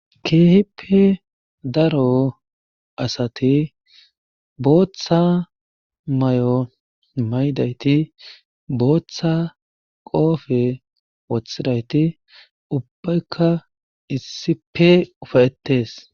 Keehippe daro asati bootha mayo mayidayti bootha qoofe wothidayti ubbayka issife ufayettees.